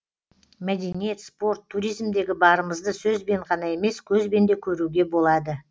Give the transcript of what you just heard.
мәдениет спорт туризмдегі барымызды сөзбен ғана емес көзбен де көруге болады